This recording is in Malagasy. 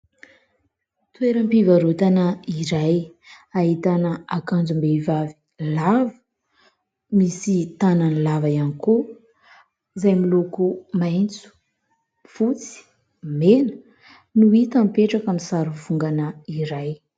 Toeram-pivarotana iray ahitana akanjom-behivavy lava, misy tanany lava ihany koa, izay miloko maitso, fotsy, mena no hita mipetraka amin'ny sary vongana iray.